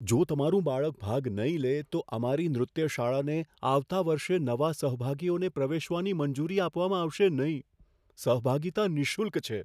જો તમારું બાળક ભાગ નહીં લે, તો અમારી નૃત્ય શાળાને આવતા વર્ષે નવા સહભાગીઓને પ્રવેશવાની મંજૂરી આપવામાં આવશે નહીં. સહભાગિતા નિઃશુલ્ક છે.